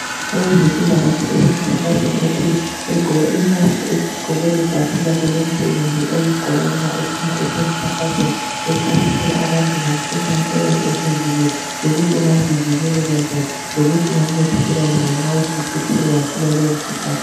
Owezempila kahle osemkhankasweni othile eqgoke imask eqgoke lebhatshi lakhe lomsebenzi aliqgoka ma ephuma esiya emkhankasweni echasisela abantu ngomkhuhlane oyabe usuvukile lokuthi ungazivikeleka njani lokuthi ungancedakeleka njani nxa suke wathola lowo mkhuhlane